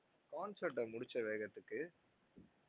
concert அ முடுச்ச வேகத்துக்கு,